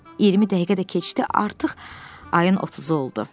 20 dəqiqə də keçdi, artıq ayın 30-u oldu.